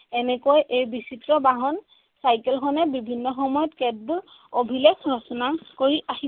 এনেকৈ এই বিচিত্ৰ বাহন চাইকেলখনে বিভিন্ন সময়ত কেতবোৰ অভিলেখ ৰচনা কৰি আহি